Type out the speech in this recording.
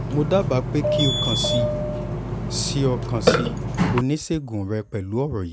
mo daba pe ki o kan si o kan si onisegun rẹ pẹlu ọrọ yii